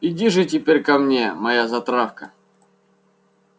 иди же теперь ко мне моя затравка